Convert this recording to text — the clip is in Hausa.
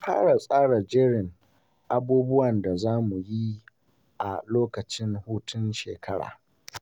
Na fara tsara jerin abubuwan da za mu yi a lokacin hutun shekara.